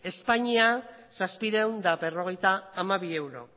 espainia zazpiehun eta berrogeita hamabi euro